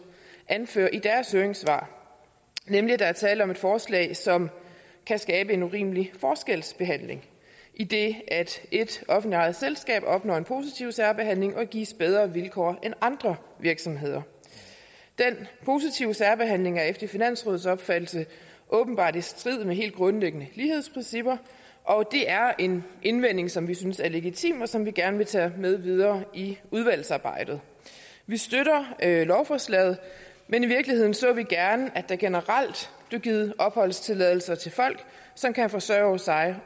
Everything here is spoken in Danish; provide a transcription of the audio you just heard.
anfører i deres høringssvar nemlig at der er tale om et forslag som kan skabe en urimelig forskelsbehandling idet et offentligt ejet selskab opnår en positiv særbehandling og gives bedre vilkår end andre virksomheder den positive særbehandling er efter finansrådets opfattelse åbenbart i strid med helt grundlæggende lighedsprincipper og det er en indvending som vi synes er legitim og som vi gerne vil tage med videre i udvalgsarbejdet vi støtter lovforslaget men i virkeligheden så vi gerne at der generelt blev givet opholdstilladelser til folk som kan forsørge sig